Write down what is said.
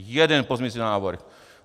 Jeden pozměňující návrh!